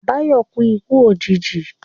Báyọ̀ kú ikú òjìji